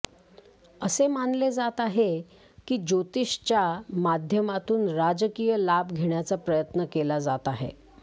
असे मानले जात आहे की ज्योतिषच्या माध्यमातून राजकीय लाभ घेण्याचा प्रयत्न केला जात आहे